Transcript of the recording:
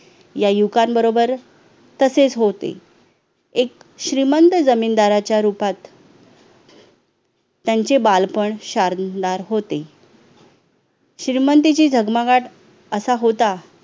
या युवकांबरोबर तसेच होते एक श्रीमंत जमीनदाराच्या रूपात त्यांचे बालपण शारणार होते श्रीमंतीची झगमगाठ असा होता